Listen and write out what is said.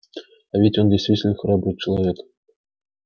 а ведь он действительно храбрый человек